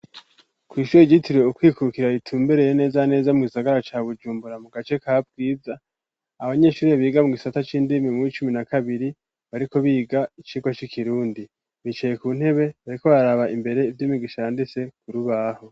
Kw'ishuri ryitiriwe ukwikukira ritumbereye neza neza mu gisagara ca Bujumbura mu gace ka bwiza, abanyeshuri biga mu gisata c'indimi muwi cumi na kabiri bariko biga icigwa c'ikirundi bicaye ku ntebe bariko bararaba imbere ivyo umwigisha yanditse kurubaho.